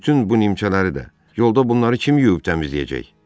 Bütün bu nimçələri də yolda bunları kim yuyub təmizləyəcək?